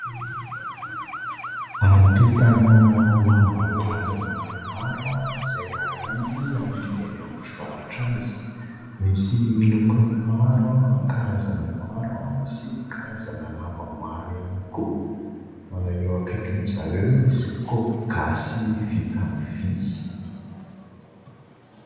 Antontana lamba landy maromaro izay aranty amidy eny amin'ny mpivarotra azy, misy lokony maro, karazany maro sy karazana lamba maro ihany koa. Eo akaikindry zareo misy kopy gasy vita amin'ny vy.